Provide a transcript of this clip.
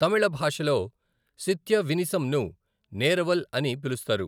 తమిళ భాషలో శిత్య వినిసంను నేరవల్ అని పిలుస్తారు.